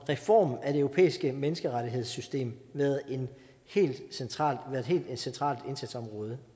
reform af det europæiske menneskerettighedssystem været et helt centralt centralt indsatsområde